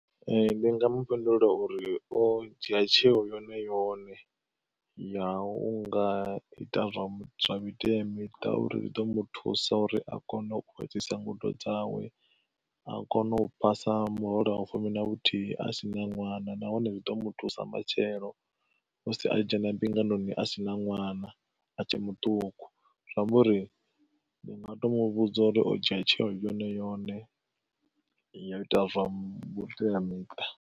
Ee ndi nga mu fhindula uri o dzhia tsheo yone yone, ya u nga ita zwa miteamiṱa uri zwi ḓo mu thusa uri a kone u fhedzisa ngudo dzawe, a kone u phasa murole wa vhufumi na vhuthihi a si na ṅwana nahone zwi ḓo mu thusa matshelo musi a dzhena mbingano a si na ṅwana a tshe muṱuku zwa amba uri, ndi nga to mu vhudza uri o dzhia tsheo yone yone yo ita zwa vhuteamiṱa.